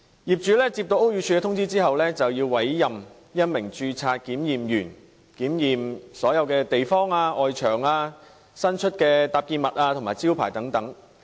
業主接獲屋宇署通知後，便要委任一名註冊檢驗人員檢驗所有地方，包括外牆、伸出物和招牌等。